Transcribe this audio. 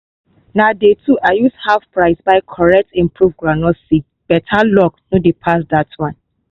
na day two i use half price buy correct improved groundnut seed better luck no dey pass that one